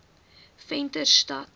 venterstad